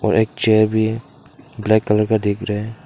और एक चेयर भी ब्लैक कलर का दिख रहा है।